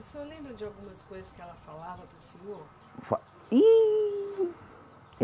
O senhor lembra de algumas coisas que ela falava para o senhor? Fa, ihh